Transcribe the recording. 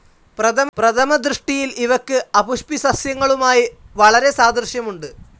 പ്രഥമ ദൃഷ്ടിയിൽ ഇവയ്ക്ക് അപുഷ്പിസസ്യങ്ങളുമായി വളരെ സാദൃശ്യമുണ്ട്.